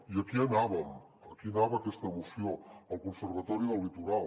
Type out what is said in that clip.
i aquí anàvem aquí anava aquesta moció el conservatori del litoral